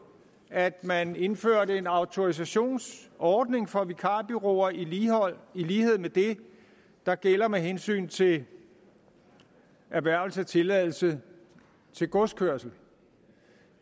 at man indførte en autorisationsordning for vikarbureauer i lighed med det der gælder med hensyn til erhvervelse af tilladelse til godskørsel